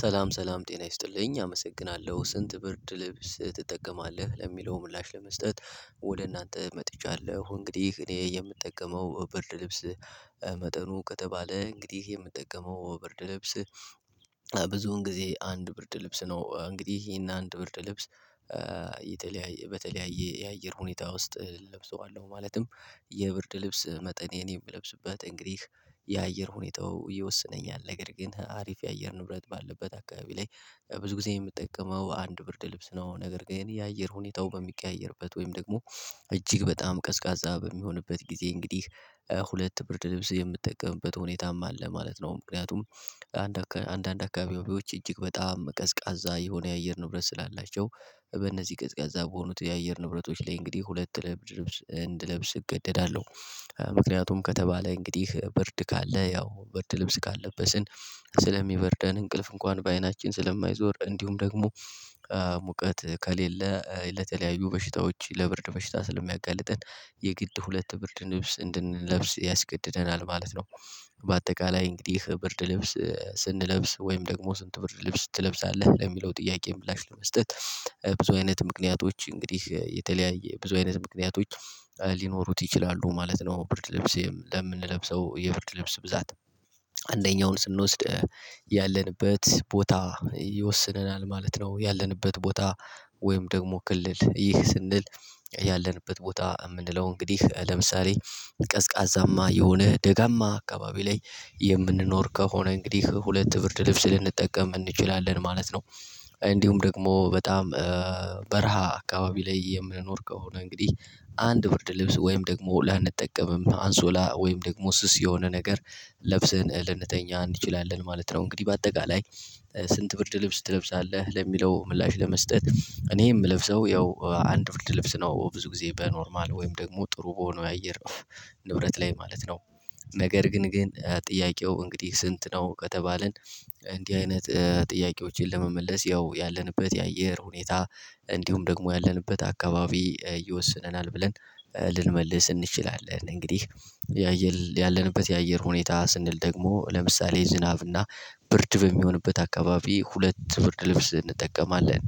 ሰላም ሰላም ጤና ይስጥልኝ አመሰግናለሁ ስንት ብርድ ልብስ ትጠቀማለህ ለሚለው ምላሽ ለመስጠት? ወደ እናንተ መጥቻለሁ እንግዲህ እኔ የምጠቀመው ብርድ ልብስ። መጠኑ ከተባለ እንግዲህ የምጠቀመው ብርድ ልብስ። ብዙውን ጊዜ አንድ ብርድ ልብስ ነው እንግዲህ ይሄን አንድ ብርድ ልብስ። በተለያየ የአየር ሁኔታ ውስጥ እለብሰዋለሁ ማለትም። የብርድ ልብስ መጠን የእኔን የምለብስበት እንግዲህ የአየር ሁኔታው ይወስነኛል። ነገር ግን አሪፍ የአየር ንብረት ባለበት አካባቢ ላይ ብዙ ጊዜ የምጠቀመው አንድ ብርድ ልብስ ነው። ነገር ግን የአየር ሁኔታው በሚቀያየርበት ወይም ደግሞ እጅግ በጣም ቀዝቃዛ በሚሆንበት ጊዜ እንግዲህ ሁለት ብርድ ልብስ የምትጠቀምበት ሁኔታም አለ ማለት ነው። ምክንያቱም አንድ አንዳንድ አካባቢዎች እጅግ በጣም ቀዝቃዛ የሆነ የአየር ንብረት ስላላቸው በነዚህ ቀዝቃዛ በሆኑት የአየር ንብረቶች ላይ እንግዲህ ሁለት ብርድ ልብስ እንድለብስ እገደዳለሁ። ምክንያቱም ከተባለ እንግዲህ ብርድ ካለ ያው ብርድ ልብስ ካልለበስን ስለሚበርደን እንቅልፍ እንኳን በአይናችን ስለማይዞር እንዲሁም ደግሞ ሙቀት ከሌለ ለተለያዩ በሽታዎች ለብርድ በሽታ ስለሚያጋልጠን የግድ ሁለት ብርድ ልብስ እንድንለብስ ያስገድደናል ማለት ነው። በአጠቃላይ እንግዲህ ብርድ ልብስ ስንለብስ ወይም ደግሞ ስንት ብርድ ልብስ ትለብሳለህ ለሚለው ጥያቄ ምላሽ ለመስጠት? ብዙ አይነት ምክንያቶች እንግዲህ የተለያየ ብዙ አይነት ምክንያቶች ሊኖሩት ይችላሉ ማለት ነው። ብር ለብሴም ለምንለብሰው የብርድ ልብስ ብዛት አንደኛውን ስንወስድ ያለንበት ቦታ ይወስነናል ማለት ነው። ያለንበት ቦታ ወይም ደግሞ ክልል ይህ ስንል ያለንበት ቦታ የምንለው እንግዲህ ለምሳሌ ቀዝቃዛማ የሆነ ደጋማ አካባቢ ላይ የምንኖር ከሆነ እንግዲህ ሁለት ብርድ ልብስ ልንጠቀም እንችላለን ማለት ነው። እንዲሁም ደግሞ በጣም በረሃ አካባቢ ላይ የምንኖር ከሆነ እንግዲህ አንድ ብርድ ልብስ ወይም ደግሞ ላንጠቀምም አንሶላ ወይም ደግሞ ስስ የሆነ ነገር ለብሰን ልንተኛ እንችላለን ማለት ነው። እንግዲህ በአጠቃላይ ስንት ብርድ ልብስ ትለብሳለህ ለሚለው ምላሽ ለመስጠት እኔ የምለብሰው ያው አንድ ብርድ ልብስ ነው። ብዙ ጊዜ በኖርማል ወይም ደግሞ ጥሩ በሆነው የአየር ንብረት ላይ ማለት ነው። ነገር ግን ግን ጥያቄው እንግዲህ ስንት ነው ከተባልን እንዲህ አይነት ጥያቄዎችን ለመመለስ ያው ያለንበት የአየር ሁኔታ እንዲሁም ደግሞ ያለንበት አካባቢ ይወስነናል ብለን ልንመልስ እንችላለን። እንግዲህ ያየል ያለንበት የአየር ሁኔታ ስንል ደግሞ ለምሳሌ ዝናብና ብርድ በሚሆንበት አካባቢ ሁለት ብርድ ልብስ እንጠቀማለን።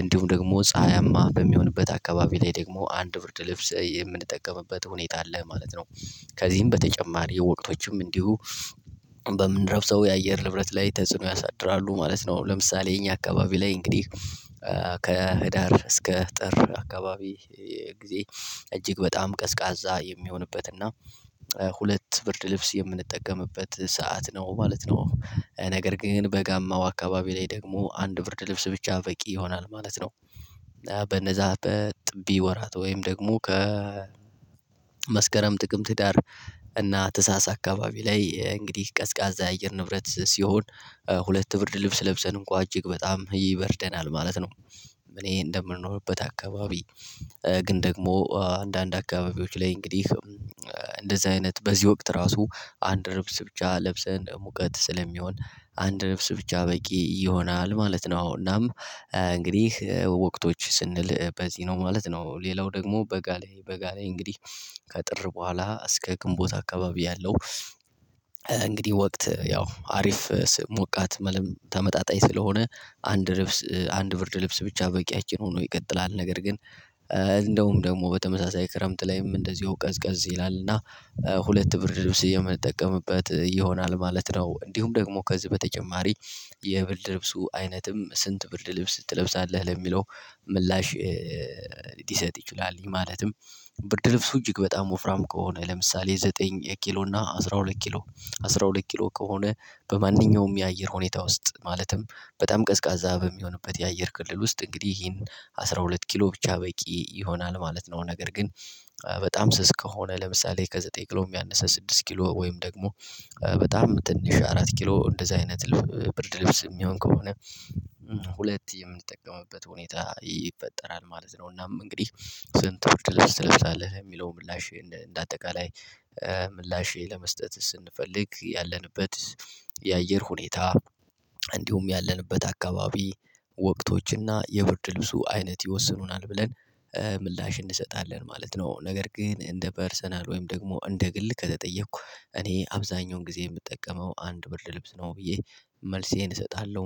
እንዲሁም ደግሞ ፀሀያማ በሚሆንበት አካባቢ ላይ ደግሞ አንድ ብርድ ልብስ የምንጠቀምበት ሁኔታ አለ ማለት ነው። ከዚህም በተጨማሪ የወቅቶችም እንዲሁ በምለብሰው የአየር ንብረት ላይ ተጽዕኖ ያሳድራሉ ማለት ነው። ለምሳሌ የኛ አካባቢ ላይ እንግዲህ ከህዳር እስከ ጥር አካባቢ ጊዜ እጅግ በጣም ቀዝቃዛ የሚሆንበት እና ሁለት ብርድ ልብስ የምንጠቀምበት ሰዓት ነው ማለት ነው። ነገር ግን በጋማው አካባቢ ላይ ደግሞ አንድ ብርድ ልብስ ብቻ በቂ ይሆናል ማለት ነው። በእነዛ በጥቢ ወራት ወይም ደግሞ ከ ከመስከረም ጥቅምት ህዳር እና ታህሣሥ አካባቢ ላይ እንግዲህ ቀዝቃዛ የአየር ንብረት ሲሆን ሁለት ብርድ ልብስ ለብሰን እንኳን እጅግ በጣም ይበርደናል ማለት ነው። እኔ እንደምንኖርበት አካባቢ ግን ደግሞ አንዳንድ አካባቢዎች ላይ እንግዲህ እንደዚህ አይነት በዚህ ወቅት ራሱ አንድ ልብስ ብቻ ለብሰን ሙቀት ስለሚሆን አንድ ልብስ ብቻ በቂ ይሆናል ማለት ነው። እናም እንግዲህ ወቅቶች ስንል በዚህ ነው ማለት ነው ሌላው ደግሞ በጋ ላይ በጋ እንግዲህ ከጥር በኋላ እስከ ግንቦት አካባቢ ያለው እንግዲህ ወቅት ያው አሪፍ ሞቃት ማለትም ተመጣጣኝ ስለሆነ አንድ ልብስ አንድ ብርድ ልብስ ብቻ በቂያችን ሆኖ ይቀጥላል። ነገር ግን እንደውም ደግሞ በተመሳሳይ ክረምት ላይም እንደዚሁ ቀዝቀዝ ይላል እና ሁለት ብርድ ልብስ የምንጠቀምበት ይሆናል ማለት ነው። እንዲሁም ደግሞ ከዚህ በተጨማሪ የብርድ ልብሱ አይነትም ስንት ብርድ ልብስ ትለብሳለህ ለሚለው ምላሽ ሊሰጥ ይችላል። ማለትም ብርድ ልብሱ እጅግ በጣም ወፍራም ከሆነ ለምሳሌ ዘጠኝ ኪሎ እና አስራ ሁለት ኪሎ አስራ ሁለት ኪሎ ከሆነ በማንኛውም የአየር ሁኔታ ውስጥ ማለትም በጣም ቀዝቃዛ በሚሆንበት የአየር ክልል ውስጥ እንግዲህ ይሄን አስራ ሁለት ሁለት ኪሎ ብቻ በቂ ይሆናል ማለት ነው። ነገር ግን በጣም ስስ ከሆነ ለምሳሌ ከዘጠኝ ኪሎ ያነሰ ስድስት ኪሎ ወይም ደግሞ በጣም ትንሽ አራት ኪሎ እንደዛ አይነት ብርድ ልብስ የሚሆን ከሆነ ሁለት የምንጠቀመበት ሁኔታ ይፈጠራል ማለት ነው። እናም እንግዲህ ስንት ብርድ ልብስ ትለብሳለህ ለሚለው ምላሽ እንደ አጠቃላይ ምላሽ ለመስጠት ስንፈልግ ያለንበት የአየር ሁኔታ እንዲሁም ያለንበት አካባቢ ወቅቶችና የብርድ ልብሱ አይነት ይወስኑናል ብለን ምላሽ እንሰጣለን ማለት ነው። ነገር ግን እንደ ፐርሰናል ወይም ደግሞ እንደ ግል ከተጠየኩ እኔ አብዛኛውን ጊዜ የምጠቀመው አንድ ብርድ ልብስ ነው ብዬ መልሴን እሰጣለሁ